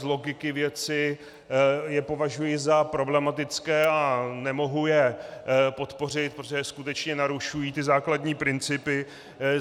Z logiky věci je považuji za problematické a nemohu je podpořit, protože skutečně narušují ty základní principy.